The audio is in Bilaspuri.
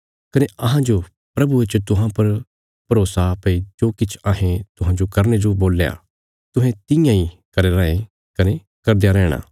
कने अहांजो प्रभुये च तुहां पर भरोसा भई जो किछ अहें तुहांजो करने जो बोल्या तुहें तियां इ करया राँये कने करदयां रैहणा